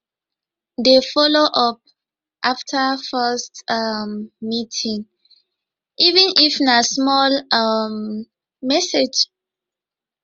dey follow up after first um meeting even if na simple um message